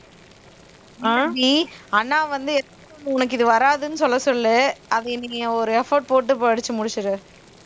இல்ல அபி அண்ணா வந்து உனக்கு இது வராதுன்னு சொல்ல சொல்லு அது நீ ஒரு effort போட்டு படிச்சு முடிச்சிடு